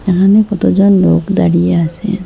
এখানে কতজন লোক দাঁড়িয়ে আসে।